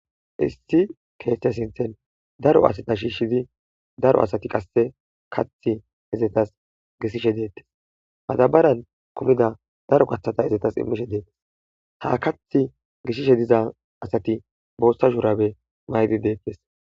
Issi keeththe sinthen daro asata shiishshidi daro asati qasse kath izetas gisshishe deettes madabaran kumida daro kathata izetas immishe deettes ha kath gishishe diza asati boossa shurabe maydi deetkes